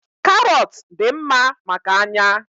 Karọt dị mma maka anya.